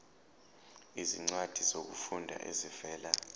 izincwadi zokufunda ezivela